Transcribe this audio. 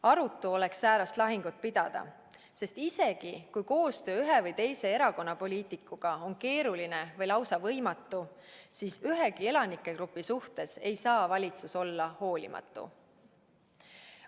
Arutu oleks säärast lahingut pidada, sest isegi kui koostöö ühe või teise erakonna poliitikuga on keeruline või lausa võimatu, siis ühegi elanike grupi suhtes ei saa valitsus olla hoolimatu.